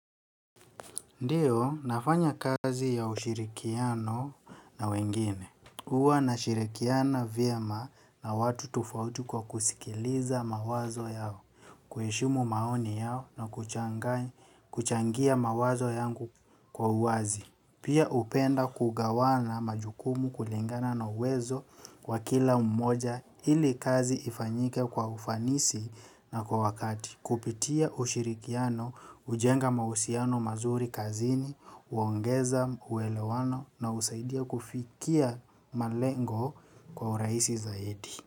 Ndiyo, nafanya kazi ya ushirikiano na wengine. Huwa nashirikiana vyema na watu tofauti kwa kusikiliza mawazo yao, kuheshimu maoni yao na kuchangia mawazo yangu kwa uwazi. Pia hupenda kugawana majukumu kulingana na uwezo wa kila mmoja ili kazi ifanyike kwa ufanisi na kwa wakati. Kupitia ushirikiano, hujenga mahusiano mazuri kazini, huongeza uelewano na husaidia kufikia malengo kwa urahisi zaidi.